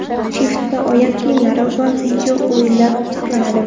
Shiftda oyoq kiyimlar va video-o‘yinlar saqlanadi.